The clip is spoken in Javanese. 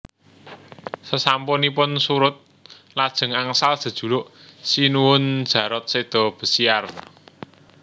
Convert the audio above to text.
Sasampunipun surud lajeng angsal jejuluk Sinuhun Jarot Séda Besiyar